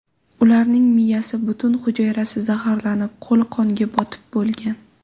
Ularning miyasi, butun hujayrasi zaharlanib, qo‘li qonga botib bo‘lgan.